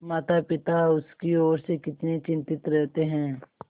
मातापिता उसकी ओर से कितने चिंतित रहते हैं